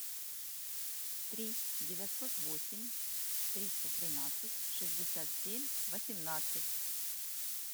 три девятьсот восемь триста тринадцать шестьдесят семь восемнадцать